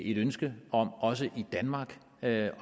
et ønske om også i danmark at